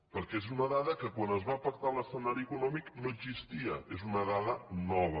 perquè és una dada que quan es va pactar l’escenari econòmic no existia és una dada nova